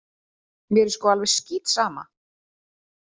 Mér er sko alveg skítsama!